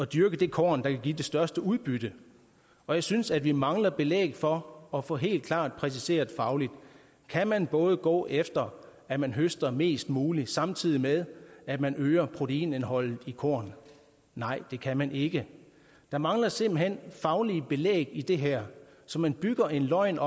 dyrke det korn der kan give det største udbytte og jeg synes at vi mangler belæg for at få helt klart præciseret fagligt kan man både gå efter at man høster mest muligt samtidig med at man øger proteinindholdet i kornet nej det kan man ikke der mangler simpelt hen faglige belæg i det her så man bygger en løgn